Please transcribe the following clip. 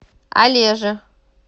олеже